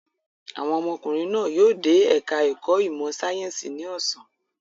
Àwọn ọmọkùnrin náà yóò dé ẹ̀ka-ẹ̀kọ́ ìmọ̀-sáyẹ́ńsì ní ọ̀sán.